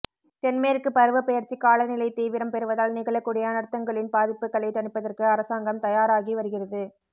தென்மேற்கு பருவப்பெயர்ச்சிக் காலநிலை தீவிரம் பெறுவதால் நிகழக்கூடிய அனர்த்தங்களின் பாதிப்புக்களைத் தணிப்பதற்கு அரசாங்கம் தயாராகி வருகிறது